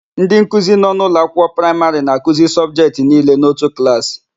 Ndịnkuzi nọ n'ụlọakwụkwọ praịmarị na-akuzi sọbjetị niile n'otu klaasị.